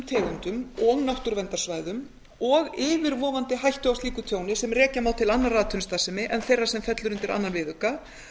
tegundum og náttúruverndarsvæðum og yfirvofandi hættu á slíku tjóni sem rekja má til annarrar atvinnustarfsemi en þeirrar sem fellur undir öðrum viðauka